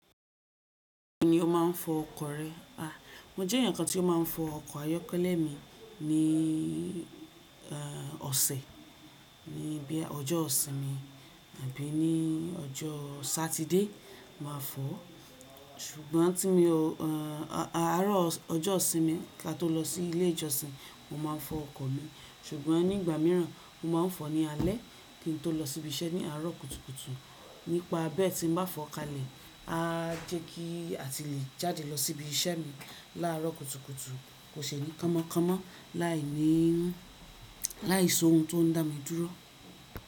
Ni ó ma ń fọ ọkọ̀ rẹ? A! Mo jẹ́ ẹnìkan tí ó máa ń fọ ọkọ̀ ayọ́kẹ́lẹ́ mi ní, ẹ́ẹ́ ọ̀sẹ̀, ní bíà ọjọ́ ìsinmi tàbí ní ọjọ́ Saturday máa fọ̀ ọ́. Ṣùgbọ́n tí mi o, ẹ́ẹ́ àárọ̀ ọjọ́ ìsinmi kí a tó lọ sí ilé ìjọsìn, mo máa ń fọ ọkọ̀ mi ṣùgbọ́n nígbà míràn mo máa ń fọ ní alẹ́ kí n tó lọ sí ibi iṣẹ́ ní àárọ̀ kùtùkùtù. Nípa bí ẹ́ tí n bá fọ kalẹ̀, á jẹ́ kí a ti le jáde lọ sí ibi iṣẹ́ mi láàárọ̀ kùtùkùtù, kò ṣe ni kọmọkọmọ láìní, láìso ohun tó ń dá mi dúró.